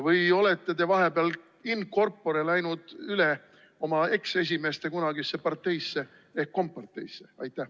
Või olete te vahepeal in corpore läinud üle oma eksesimeeste kunagisse parteisse ehk komparteisse?